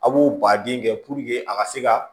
A b'o baden kɛ a ka se ka